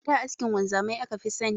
A da askin wanzamai aka fi sani.